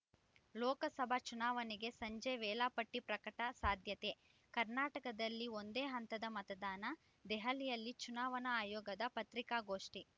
ಲೋಕಸಭಾ ಚುನಾವಣೆಗೆ ಸಂಜೆ ವೇಳಾಪಟ್ಟಿ ಪ್ರಕಟ ಸಾಧ್ಯತೆ ಕರ್ನಾಟಕದಲ್ಲಿ ಒಂದೇ ಹಂತದ ಮತದಾನ ದೆಹಲಿಯಲ್ಲಿ ಚುನಾವಣಾ ಆಯೋಗದ ಪತ್ರಿಕಾಗೋಷ್ಠಿ